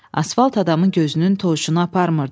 Asfalt adamın gözünün tovuşunu aparmırdı.